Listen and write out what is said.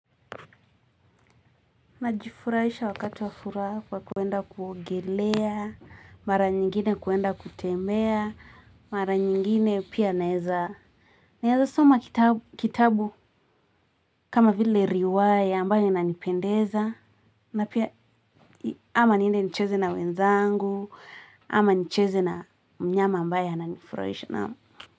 Najifurahisha wakati wa furaha kwa kwenda kuogelea, mara nyingine kwenda kutembea, mara nyingine pia naeza, naeza soma kitabu kama vile riwaya ambayo inanipendeza, na pia ama niende nicheze na wenzangu, ama nicheze na mnyama ambaye ananifurahisha naamu.